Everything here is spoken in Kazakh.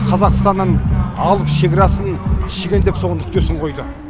қазақстанның алып шекарасын шегендеп соған нүктесін қойды